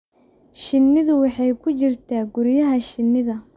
Shinnidu waxay ku jirtaa guryaha shinnida.